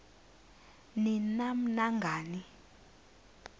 ni nam nangani